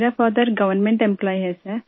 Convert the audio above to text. मेरा father government employee है sir